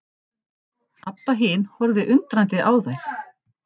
Abba hin horfði undrandi á þær.